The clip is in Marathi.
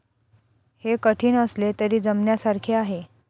हे कठीण असले तरी जमण्यासारखे आहे.